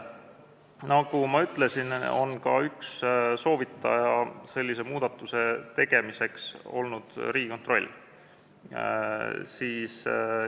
Nagu ma ütlesin, üks sellise muudatuse soovitaja on olnud Riigikontroll.